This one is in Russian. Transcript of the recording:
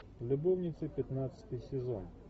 любовницы пятнадцатый сезон